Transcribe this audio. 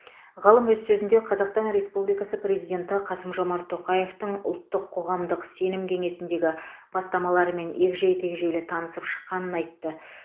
ғалым өз сөзінде қазақстан республикасы президенті қасым жомарт тоқаевтың ұлттық қоғамдық сенім кеңесіндегі бастамаларымен егжей тегжейлі танысып шыққанын айтты